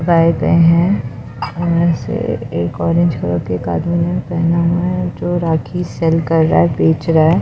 गए ऐसे एक ऑरेंज कलर के एक आदमी ने पहना हुआ है जो राखी सेल कर रहा बेच रहा है।